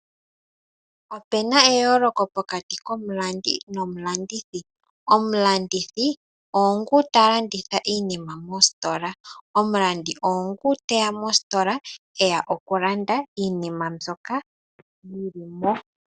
Opena eyooloko pokati komulandi nomulandithi, omulandithi oongu talanditha iinima mositola, omulandi oongu teya mositola eya okulanda iinima mbyoka yili mo.